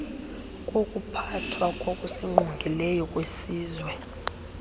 wokuphathwa kokusingqongileyo kwesizwe